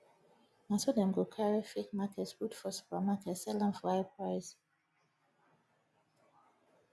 na so dem go carry fake market put for supermarket sell am for high price